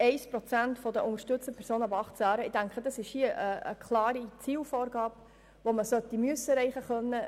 1 Prozent der unterstützten Personen ab 18 Jahren in den Arbeitsmarkt zu integrieren ist eine klare Zielvorgabe, welche zu erreichen sein müsste.